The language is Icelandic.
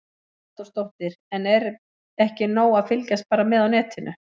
Hugrún Halldórsdóttir: En er ekki nóg að fylgjast bara með á netinu?